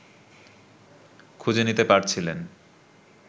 খুঁজে নিতে পারছিলেন